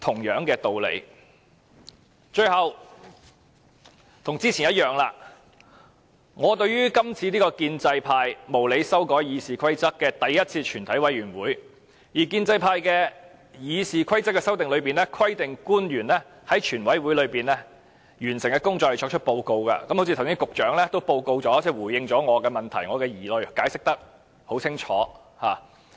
最後，正如我剛才發言時已表示，這是建制派無理修改《議事規則》後首次舉行的全委會，而經建制派修訂的《議事規則》規定官員在全委會完成所有程序並回復立法會後作出報告，局長剛才亦已作出報告，回應我的問題和疑慮，解釋得很清楚。